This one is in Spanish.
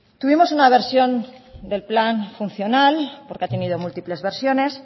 tuvimos una versión del plan funcional porque ha tenido múltiples versiones